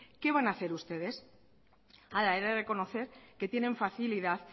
qué van a hacer ustedes ahora he de reconocer que tienen facilidad